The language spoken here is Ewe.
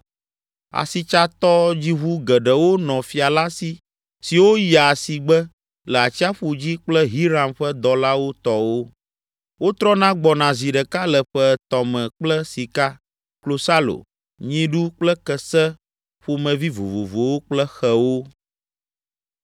Asitsatɔdziʋu geɖewo nɔ fia la si siwo yia asigbe le atsiaƒu dzi kple Hiram ƒe dɔlawo tɔwo. Wotrɔna gbɔna zi ɖeka le ƒe etɔ̃ me kple sika, klosalo, nyiɖu kple kese ƒomevi vovovowo kple xewo.